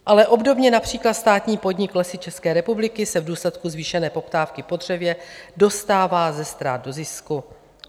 Ale obdobně například státní podnik Lesy České republiky se v důsledku zvýšené poptávky po dřevě dostává ze ztrát do zisku.